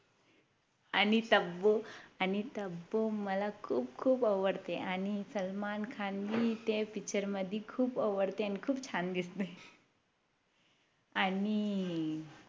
आणि तब्बू आणि तब्बू मला खूप खूप आवडते आणि सलमान खान हि त्या Picture मध्ये खूप आवडते आणि खूप छान दिसतंय आणि